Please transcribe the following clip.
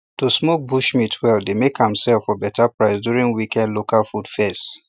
to smoke bush meat well dey make am sell for better price during weekend local food fairs